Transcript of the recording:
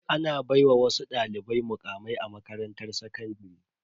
Ana baiwa wasu dalibai mukamai a makarantar sakandare.